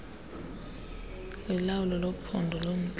kulawulo lwephondo lomntla